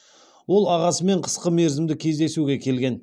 ол ағасымен қысқы мерзімді кездесуге келген